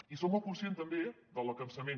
i som molt conscients també del cansament